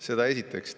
Seda esiteks.